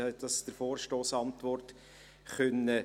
Sie konnten das der Vorstossantwort entnehmen.